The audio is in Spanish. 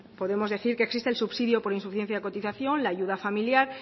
podemos decir que existe el subsidio por insuficiencia de cotización la ayuda familiar